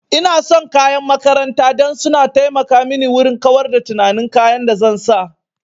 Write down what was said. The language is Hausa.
Ina son kayan makaranta dan su na taimaka mini wurin kawar da tunanin kayan da zan sa